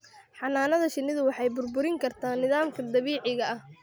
Xannaanada shinnidu waxay burburin kartaa nidaamka dabiiciga ah.